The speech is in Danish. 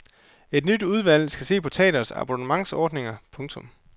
Et nyt udvalg skal se på teatres abonnementsordninger. punktum